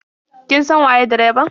Kin san waye direban?